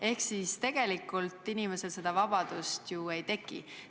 Ehk siis tegelikult inimesel seda vabadust ju ei teki.